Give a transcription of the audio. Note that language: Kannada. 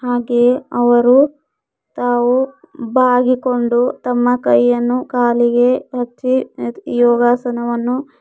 ಹಾಗೆಯೇ ಅವರು ತಾವು ಬಾಗಿಕೊಂಡು ತಮ್ಮ ಕೈಯನ್ನು ಕಾಲಿಗೆ ಹಚ್ಚಿ ಇದ್ ಯೋಗಾಸನವನ್ನು--